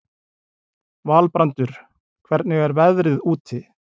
Valbrandur, hvernig er veðrið úti?